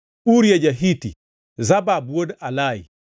Uria ja-Hiti, Zabad wuod Alai,